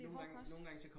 Det hård kost